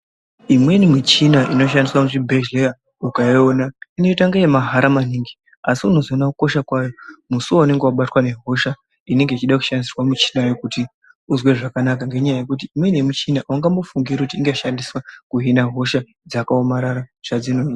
Imweni michina inoshandiswe muzvibhedhleya ukaiona inoite kunge yemahara maningi. Asi unozoona kukosha kwayo musi vaunenge vabatwa ngehosha inenge ichida kushandiswa michinayo kuti uzwe zvakanaka. Ngenyaya yekuti imweni yemichina haungambofungiri kuti inohina hosha dzakaomarara zvadzinoita.